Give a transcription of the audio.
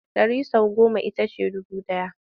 Ɗari sau goma ita ce dubu ɗaya.